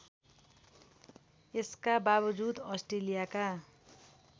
यसका बावजुद अस्ट्रेलियाका